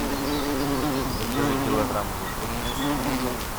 закажи килограмм лука